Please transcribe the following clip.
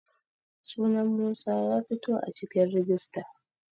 sunan Musa ya fito a cikin rijista